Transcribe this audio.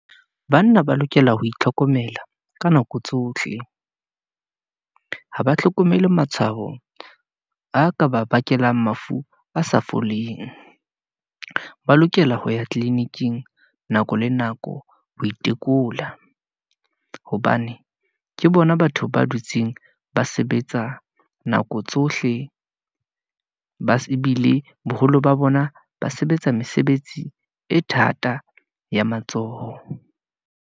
Banna ba lokela ho itlhokomela ka nako tsohle , ha ba hlokomele matshwao a ka ba bakelang mafu a sa foleng. Ba lokela ho ya tliliniking nako le nako, ho itekola, hobane ke bona batho ba dutseng ba sebetsa nako tsohle , ba se bile boholo ba bona, ba sebetsa mesebetsi e thata ya matsoho.